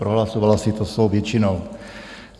Prohlasovala si to svou většinou.